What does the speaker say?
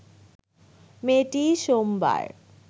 মেয়েটি সোমবার